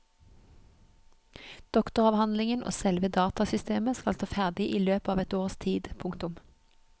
Doktoravhandlingen og selve datasystemet skal stå ferdig i løpet av et års tid. punktum